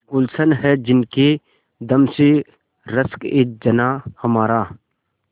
गुल्शन है जिनके दम से रश्कएजनाँ हमारा